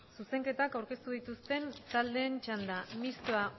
zuzenketak aurkeztu dituzten taldeen txanda mistoa